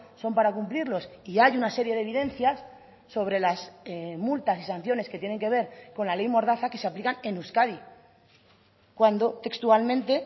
son para cumplirlos y hay una serie de evidencias sobre las multas y sanciones que tienen que ver con la ley mordaza que se aplican en euskadi cuando textualmente